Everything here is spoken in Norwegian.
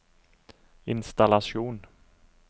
innstallasjon